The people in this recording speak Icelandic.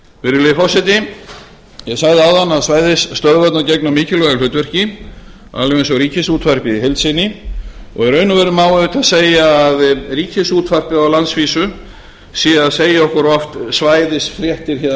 virðulegi forseti ég sagði áðan að svæðisstöðvarnar gegna mikilvægu hlutverki alveg eins og ríkisútvarpið í heild sinni í raun og veru má auðvitað segja að ríkisútvarpið á landsvísu sé að segja okkur oft svæðisfréttir héðan af